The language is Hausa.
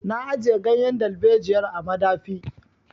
Na ajiye ganyen dalbejiyar a madafi.